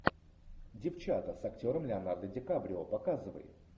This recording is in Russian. девчата с актером леонардо ди каприо показывай